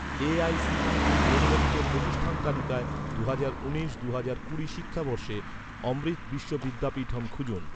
AICTE অনুমোদিত প্রতিষ্ঠান তালিকায়, দুহাজার উনিশ দুহাজার কুড়ি শিক্ষাবর্ষে, অমৃত বিশ্ব বিদ্যাপীঠম খুঁজুন